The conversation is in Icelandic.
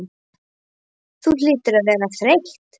Hvað þú hlýtur að vera þreytt.